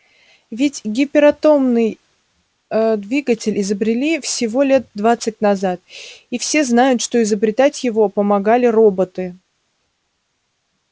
ведь гиператомный двигатель изобрели всего лет двадцать назад и все знают что изобретать его помогали роботы